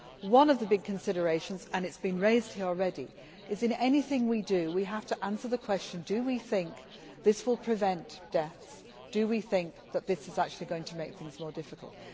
One of the big considerations, and it has been raised here already, is that in anything we do we have to answer the question Do we think this will prevent deaths or do we think that this is actually going to make things more difficult?